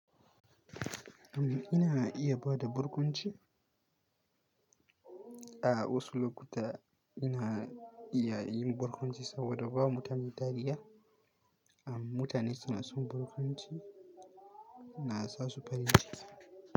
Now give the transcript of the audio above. Amma ina iya bada burkunci. A wasu lokuta ina iya yin barkwanci saboda ba mutane tariya, amm mutane suna son barkwanci, na sa su farin ciki.